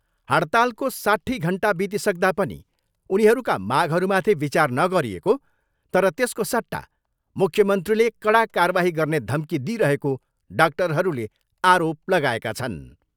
हडतालको साट्ठी घन्टा बितिसक्दा पनि उनीहरूका मागहरूमाथि विचार नगरिएको तर त्यसको सट्टा मुख्यमन्त्रीले कडा कारबाही गर्ने धम्की दिइरहेको डाक्टरहरूले आरोप लगाएका छन्।